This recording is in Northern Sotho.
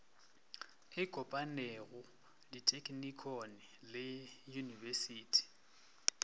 e kopanego dithekinikone le uiyunibesithi